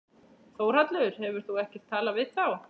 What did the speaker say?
Þórhallur: Hefur þú ekkert talað við þá?